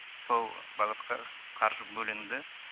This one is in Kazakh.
сол бағытқа қаржы бөлінді